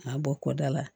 A bɔ kɔ da la